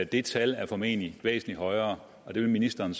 det tal formentlig er væsentlig højere og det vil ministeren